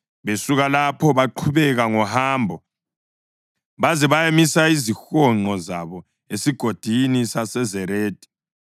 Besuka lapho baqhubeka ngohambo baze bayamisa izihonqo zabo esigodini saseZeredi.